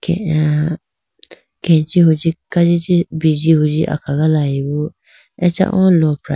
ay ah kechi hunji kajichi biji huji akhagalayibo acha o lopra.